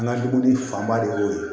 An ka dumuni fanba de y'o ye